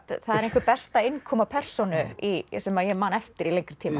það er einhver besta innkoma persónu sem ég man eftir í lengri tíma